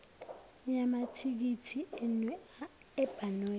yamathikithi enu ebhanoyi